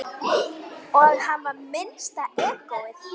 Og hann var minnsta egóið.